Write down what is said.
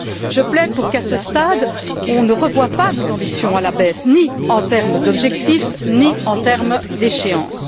Je plaide pour qu'à ce stade, on ne revoie pas nos ambitions à la baisse, ni en termes d'objectifs, ni en termes d'échéances.